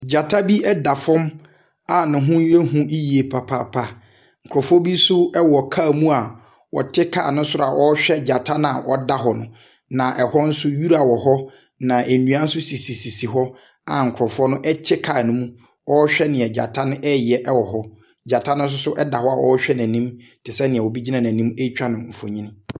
Jata bi ɛda fɔm a neho ye hu yie papaapa. Nkɔfo bi nso ɛwɔ kaa mu a wɔti kaa no soro a wɔɔhwɛ jata naa ɔda hɔ na ɛhɔ nso wira wɔ hɔ na endua so sisi hɔ a nkrɔfo no ɛti kaa no mo a ɔɔhwɛ nia jata no ɛɛyɛ ɛwɔ hɔ. Jata no soso da hɔ ɛɛhwɛ nenim tisɛɛ nia obi gyina nenim eetwa no mfonii.